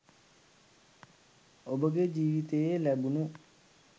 ඔබගේ ජීවිතයේ ලැබුණු